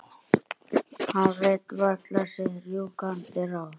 Hann veit varla sitt rjúkandi ráð.